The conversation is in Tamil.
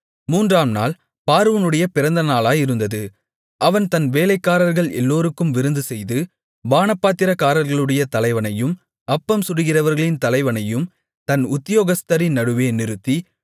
மூன்றாம் நாள் பார்வோனுடைய பிறந்த நாளாயிருந்தது அவன் தன் வேலைக்காரர்கள் எல்லோருக்கும் விருந்துசெய்து பானபாத்திரக்காரர்களுடைய தலைவனையும் அப்பம் சுடுகிறவர்களின் தலைவனையும் தன் உத்தியோகஸ்தரின் நடுவே நிறுத்தி